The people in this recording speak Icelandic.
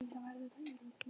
Jónar, viltu hoppa með mér?